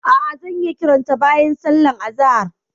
A'a, zan yi kiranta bayan sallar azahar.